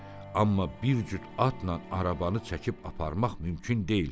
Amma bir cüt atla arabanı çəkib aparmaq mümkün deyil.